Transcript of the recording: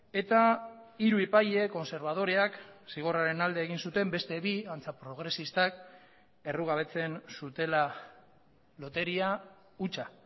eta hiru epaile kontserbadoreak zigorraren alde egin zuten beste bi antza progresistak errugabetzen zutela loteria hutsa